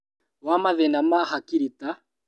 Wa mathĩna ma hakiri ta